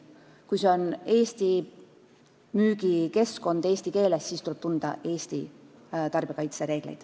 Kui see on Eesti müügikeskkond, müük toimub eesti keeles, siis tuleb tunda Eesti tarbijakaitsereegleid.